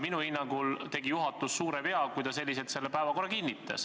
Minu hinnangul tegi juhatus suure vea, kui ta sellise päevakorra kinnitas.